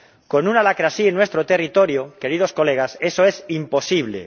Con una lacra así en nuestro territorio, queridos colegas, eso es imposible.